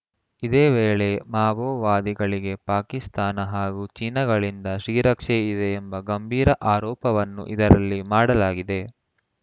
ಇದೇ ವೇಳೆ ಮಾವೋವಾದಿಗಳಿಗೆ ಪಾಕಿಸ್ತಾನ ಹಾಗೂ ಚೀನಾಗಳಿಂದ ಶ್ರೀರಕ್ಷೆ ಇದೆ ಎಂಬ ಗಂಭೀರ ಆರೋಪವನ್ನು ಇದರಲ್ಲಿ ಮಾಡಲಾಗಿದೆ